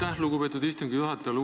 Aitäh, lugupeetud istungi juhataja!